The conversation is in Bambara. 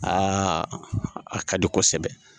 a ka di kosɛbɛ